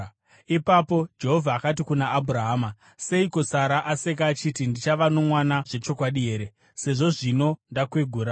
Ipapo Jehovha akati kuna Abhurahama, “Seiko Sara aseka achiti, ‘Ndichava nomwana zvechokwadi here, sezvo zvino ndakwegura?’